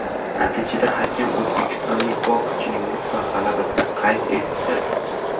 Natijada hakam o‘zbekistonlik bokschining mutlaq g‘alabasini qayd etdi.